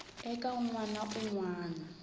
eka n wana un wana